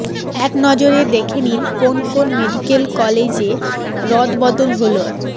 একনজরে দেখে নিন কোন কোন মেডিক্যাল কলেজে রদবদল হল